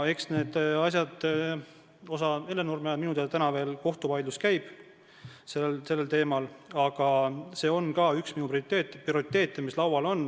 Hellenurme asjas minu teada veel kohtuvaidlus käib, aga see on ka üks minu prioriteete, mis laual on.